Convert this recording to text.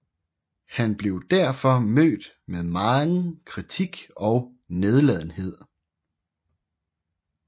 Han blev derfor mødt med megen kritik og nedladenhed